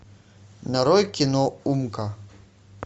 нарой кино умка